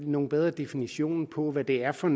nogle bedre definitioner på hvad det er for